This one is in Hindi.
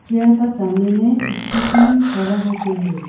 चेयर का सामने मे स्कूटी खड़ा होके है।